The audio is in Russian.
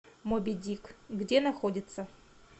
моби дик где находится